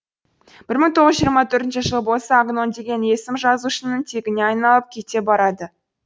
бір мың тоғыз жүз жиырма төртінші жылы болса агнон деген есім жазушының тегіне айналып кете барады